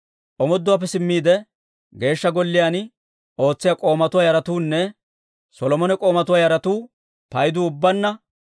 Omooduwaappe simmiide, Geeshsha Golliyaan ootsiyaa k'oomatuwaa yaratuunne Solomone k'oomatuwaa yaratuu paydu ubbaanna 392.